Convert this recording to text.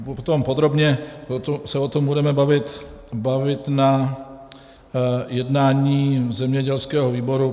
Potom podrobně se o tom budeme bavit na jednání zemědělského výboru.